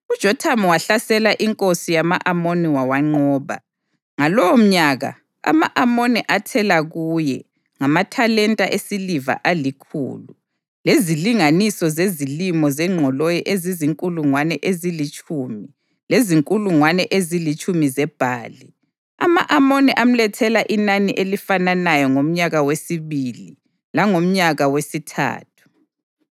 UJothamu wahlasela inkosi yama-Amoni wawanqoba. Ngalowomnyaka ama-Amoni athela kuye ngamathalenta esiliva alikhulu, lezilinganiso zezilimo zengqoloyi ezizinkulungwane ezilitshumi lezinkulungwane ezilitshumi zebhali. Ama-Amoni amlethela inani elifananayo ngomnyaka wesibili langomnyaka wesithathu.